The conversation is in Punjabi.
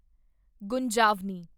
ਗੁੰਜਾਵਨੀ